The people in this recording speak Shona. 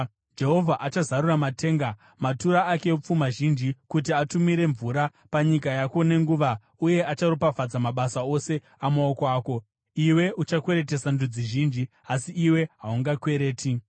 Jehovha achazarura matenga, matura ake epfuma zhinji, kuti atumire mvura panyika yako nenguva uye acharopafadza mabasa ose amaoko ako. Iwe uchakweretesa ndudzi zhinji asi iwe haungakwereti.